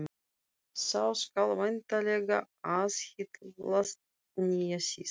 Sá skal væntanlega aðhyllast nýjan sið.